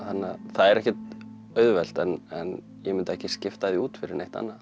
það er ekkert auðvelt en ég myndi ekki skipta því út fyrir neitt annað